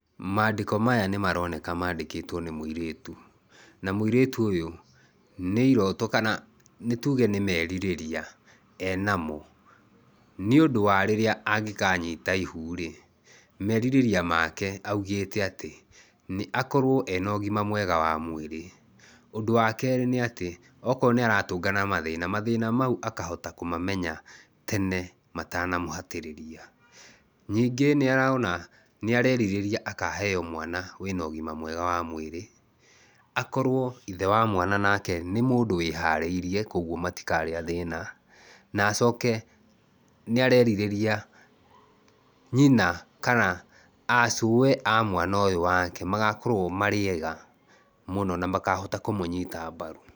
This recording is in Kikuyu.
Mandĩko maya nĩ maroneka mandĩkĩtwo nĩ mũirĩtu. Na mũirĩtu ũyũ, nĩ irooto kana nĩ tuge nĩ merirĩria enamo. Nĩ ũndũ wa rĩrĩa angĩkanyita ihu rĩ, merirĩria make augĩte atĩ, nĩ akorwo ena ũgima mwega wa mwĩrĩ, ũndũ wa keerĩ nĩ atĩ, okorwo nĩ aratũngana na mathĩna, mathĩna mau akahota kũmamenya tene matanamũhatĩrĩria. Nyingĩ nĩ arona nĩ arerirĩria akaheo mwana wĩna ũgima mwega wa mwĩrĩ, akorwo ithe wa mwana nake nĩ mũndũ wĩharĩirie kũguo matikarĩa thĩna. Na acoke, nĩ arerirĩria nyina kana aa cũe a mwana ũyũ wake, magakorwo marĩ eega mũno na makahota kũmũnyita mbaru.